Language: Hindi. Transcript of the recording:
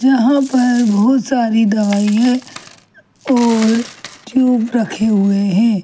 यहाँ पर बहुत सारी दवाईंयां और टुबस रखे हुए है।